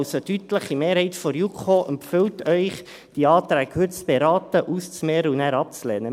Also: Eine deutliche Mehrheit der JuKo empfiehlt Ihnen, diese Anträge heute zu beraten, auszumehren und nachher abzulehnen.